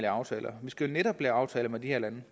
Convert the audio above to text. aftaler vi skal jo netop lave aftaler med de her lande